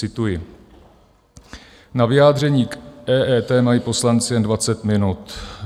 Cituji: Na vyjádření k EET mají poslanci jen 20 minut.